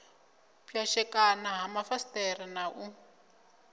pwashekana ha mafasiṱere na u